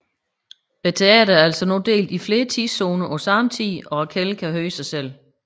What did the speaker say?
Teatret er altså nu delt i flere tidszoner på samme tid og Raquelle kan høre sig selv